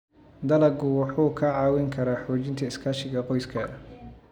Dalaggu wuxuu kaa caawin karaa xoojinta iskaashiga qoyska.